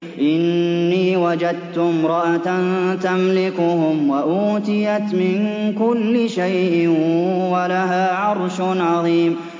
إِنِّي وَجَدتُّ امْرَأَةً تَمْلِكُهُمْ وَأُوتِيَتْ مِن كُلِّ شَيْءٍ وَلَهَا عَرْشٌ عَظِيمٌ